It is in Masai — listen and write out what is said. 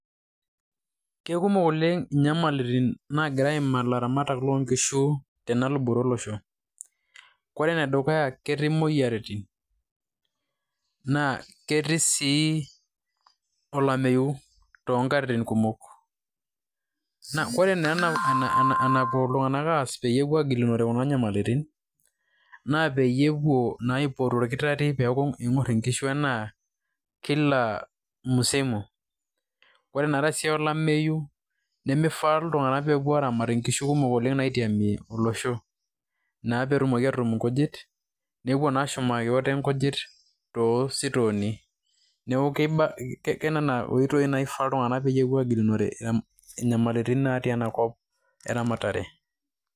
Kekumok oleng' inyamalitin nagira aiimaa ilaramatak tenaluboto olosho. Kore ene dukuya ketii imoyiaritin, naa ketii sii olameyu too nkatitin kumok. Naa kore naa enapou iltung'ank aas peyie egilunore kuna nyamalitin, naa peyie epuo naa aipot olkitar'rri peeku ing'or inkishu naa kila msimu. Ore naa te siai olameyu nemifaa iltung'anak pee epuo aramat inkishu kumok oleng' naitiamie olosho naa pee etumoki naa atutum inkujit nepuo naa ashumaki ote inkujit to sitooni. Neeku ke nena oitoi naa ifaa iltung'anak peyie epuo agilunore nyamalitin natii ena kop eramatare.